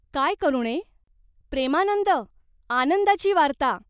"काय करुणे ?" "प्रेमानंद, आनंदाची वार्ता.